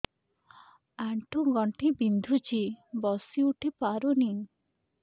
ଆଣ୍ଠୁ ଗଣ୍ଠି ବିନ୍ଧୁଛି ବସିଉଠି ପାରୁନି